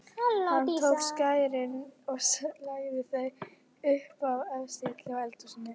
Hann tók skærin og lagði þau upp á efstu hillu í eldhúsinu.